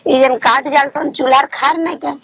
ଏ ସବୁ କାଠ ଜଳୁଛନ ଚୁଲା ରେ